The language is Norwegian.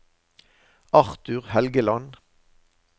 Arthur Helgeland